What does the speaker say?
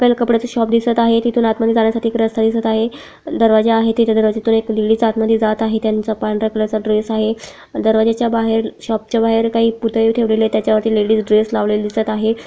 आपल्याला कपड्याच शॉप दिसत आहे तिथून आत मध्ये जाण्यासाठी रस्ता दिसत आहे दरवाजा आहे तेथे दरवाज्यातून एक लेडीज आत मध्ये जात आहे त्यांचा पांढर्‍या कलर चा ड्रेस आहे दरवाजे च्या बाहेर शॉप च्या बाहेर काही पुतळे ठेवलेले आहेत त्याच्या वरती लेडीस ड्रेस लावलेले दिसत आहे.